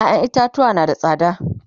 ƴaƴan itatuwa na da tsada